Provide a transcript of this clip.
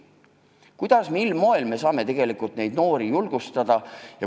Kuidas, mil moel me ikkagi saame neid noori julgustada?